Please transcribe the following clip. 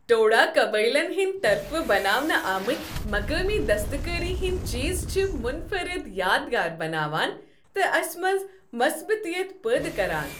ٹوڈا قبٲئلن ہٕنٛد طرفہٕ بناونہٕ آمٕتۍ مقٲمی دستکٲری ہندۍ چیز چھِ منفرد یادگار بناوان تہٕ اسہِ منٛز مثبتیت پٲدٕ کران۔